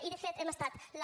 i de fet hem estat la